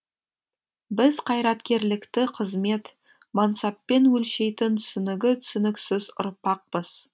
біз қайраткерлікті қызмет мансаппен өлшейтін түсінігі түсініксіз ұрпақпыз